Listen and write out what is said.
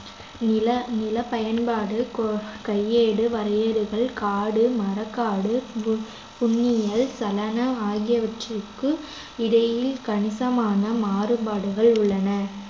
நில நிலப் பயன்பாடு கொ~ கையேடு வரையறைகள் காடு, மரக்காடு, பு~ புன்னிலம், சலனா ஆகியவற்றுக்கு இடையில் கணிசமான மாறுபாடுகள் உள்ளன